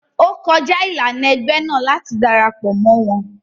O kọja ilana ẹgbẹ náà láti darapọ mọ wọn